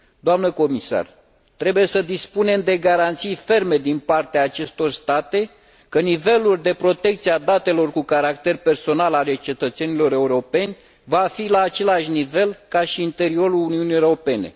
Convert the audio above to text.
Doamnă comisar, trebuie să dispunem de garanții ferme din partea acestor state că nivelul de protecție a datelor cu caracter personal ale cetățenilor europeni va fi la același nivel ca și în interiorul Uniunii Europene.